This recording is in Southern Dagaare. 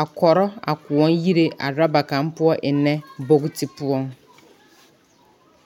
a kɔrɔ a kõɔ yire a oroba kaa poɔ ennɛ booti poɔŋ.